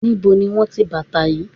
Níbo ni wón ti bàtà yí?